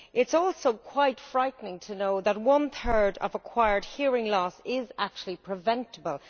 It is also quite frightening to know that one third of acquired hearing loss is actually preventable.